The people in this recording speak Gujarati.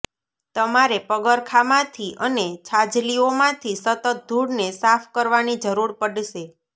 તમારે પગરખાંમાંથી અને છાજલીઓમાંથી સતત ધૂળને સાફ કરવાની જરૂર પડશે